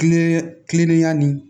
Kilen kilennenya nin